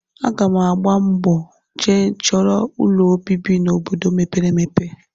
Aga m agba mbọ jee chọrọ ụlọobibi n'obodo mepere emepe